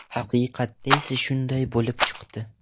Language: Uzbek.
Haqiqatda esa shunday bo‘lib chiqdi.